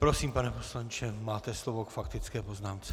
Prosím, pane poslanče, máte slovo k faktické poznámce.